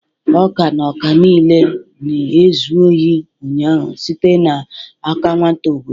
ọka na ọka niile na-ezu ohi ụnyaahụ site n'aka nwata obodo